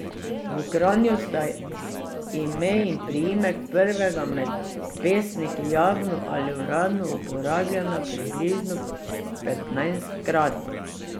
V Kranju sta ime in priimek prvega med pesniki javno ali uradno uporabljena približno petnajstkrat.